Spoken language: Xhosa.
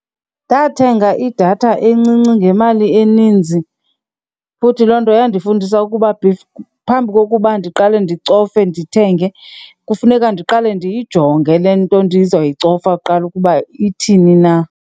Ndathenga idatha encinci ngemali eninzi futhi loo nto iyandifundisa ukuba phambi kokuba ndiqale ndicofe ndithenge, kufuneka ndiqale ndiyijonge le nto ndizoyicofa kuqala ukuba ithini na.